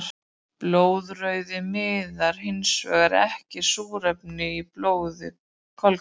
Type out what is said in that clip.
Blóðrauði miðlar hinsvegar ekki súrefni í blóði kolkrabba.